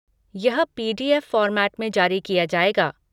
यह PDF. Format में जारी किया जाएगा।